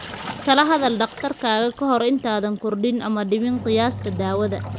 Kala hadal dhakhtarkaaga ka hor intaadan kordhin ama dhimin qiyaasta daawada.